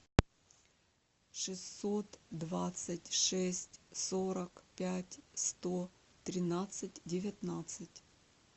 шестьсот двадцать шесть сорок пять сто тринадцать девятнадцать